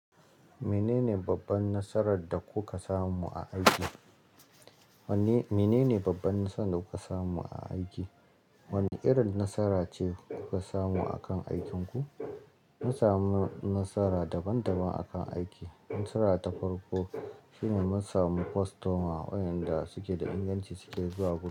Menene babban nasarar da kuka samu a aiki? Menene babban nasarar da kuka samu a aiki? Wanne irin nasara ce kuka samu a kan aikinku? Mun samu nasara daban-daban a kan aiki. Nasara ta farko shine mun samu kwastoma wa inda suke da inganci suke zuwa gurinmu.